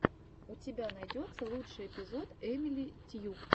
у тебя найдется лучший эпизод эмили тьюб